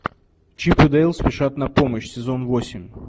чип и дейл спешат на помощь сезон восемь